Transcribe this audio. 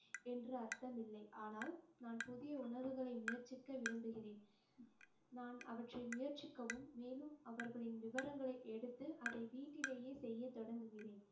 என்று அர்த்தம் இல்லை ஆனால் நான் புதிய உணவுகளை முயற்சிக்க விரும்புகிறேன். நான் அவற்றை முயற்சிக்கவும், மேலும் அவர்களின் விவரங்களை எடுத்து அதை வீட்டிலேயே செய்ய தொடங்குகிறேன்